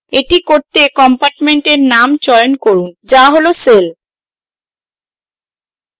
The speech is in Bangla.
এটি করতে compartment name চয়ন করুন to cell cell